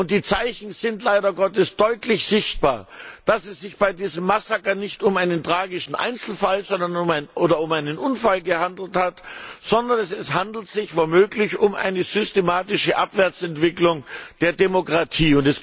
Die Zeichen sind leider Gottes deutlich sichtbar, dass es sich bei diesem Massaker nicht um einen tragischen Einzelfall oder um einen Unfall gehandelt hat, sondern es handelt sich womöglich um eine systematische Abwärtsentwicklung der Demokratie.